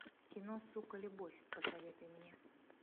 кино сука любовь посоветуй мне